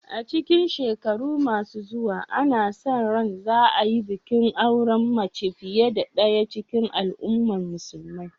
A cikin shekaru masu zuwa, ana sa ran za a yi bikin auren mace fiye da ɗaya cikin al’umman musulmai.